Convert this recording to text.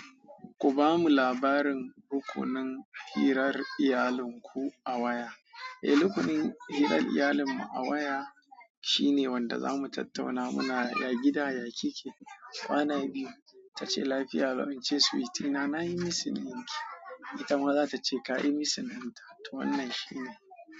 Ku bamu labarin rukunin hirar iyalin ku a waya. Eh, rukunin hirar iyalinmu a waya shine wanda za mu tattauna, Muna ya gida? Ya kike? Kwana biyu. Ta ce lafiya. Barin ce suwiti. Na nayi missing ɗinki. Ita ma za ta ce ka yi missing ɗinta. To wannan shine.